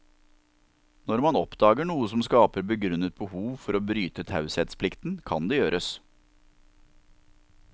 Når man oppdager noe som skaper begrunnet behov for å bryte taushetsplikten, kan det gjøres.